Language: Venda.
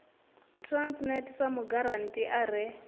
transnet sa mugarantii a re